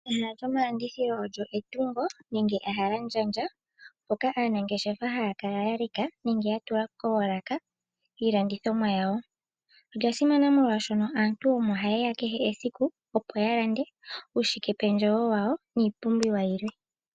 Ehala lyomalandithilo olyo etungo nenge ehalandjandja mpoka aanangeshefa haya kala ya leka nenge ya tula koolaka iilandithomwa yawo. olya simana molwashono aantu omo hayeya kehe esiku opo ya lande uushike pendjewo wawo niipumbiwa yilwe.